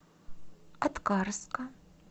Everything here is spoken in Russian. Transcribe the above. аткарска